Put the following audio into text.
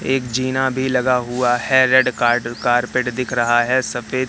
एक जीना भी लगा हुआ है रेड कारपेट दिख रहा है सफेद --